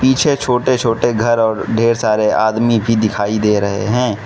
पीछे छोटे छोटे घर और ढेर सारे आदमी भी दिखाई दे रहे हैं।